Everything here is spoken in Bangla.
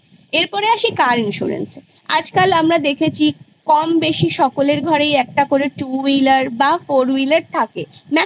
এরপর আসি car insurance এ আজকাল আমরা দেখেছি কম বেশি সকলের ঘরেই একটা করে two wheeler বা four wheeler থাকে maximum